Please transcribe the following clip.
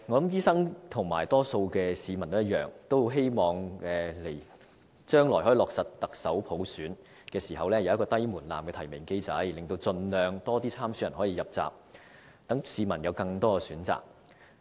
醫生和多數市民一樣，均很希望將來落實行政長官普選時，可以有低門檻的提名機制，令盡量多的參選人可以入閘，讓市民有更多選擇。